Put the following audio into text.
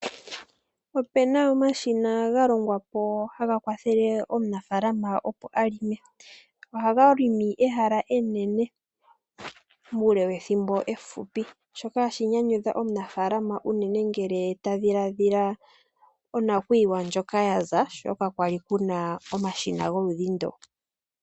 Ope na omashina ga longwa po haga kwathele omunafalama opo a longe ohaga longo ehala enene muule wethimbo efupi. Shoka hashi nyanyudha omunafalama unene ngele ta dhiladhila onakuyiwa ndjoka ya za, sho ka kwali kuna omashina goludhi ndu.